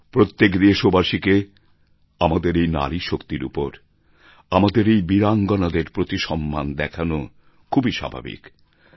প্রত্যেক দেশবাসীকে আমাদের এই নারীশক্তির উপর আমাদের এই বীরাঙ্গানাদের প্রতি সম্মান দেখানো খুবই স্বাভাবিক